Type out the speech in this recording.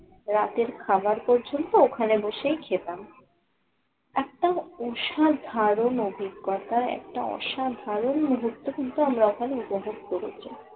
রাতের খাবার পর্যন্ত ওখানে বসেই খেতাম। অসাধারণ অভিজ্ঞতায় একটা অসাধারণ মুহূর্ত কিন্তু আমরা ওখানে উপভোগ করেছি।